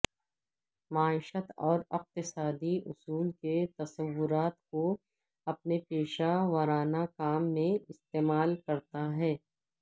معیشت اور اقتصادی اصول کے تصورات کو اپنے پیشہ ورانہ کام میں استعمال کرتا ہے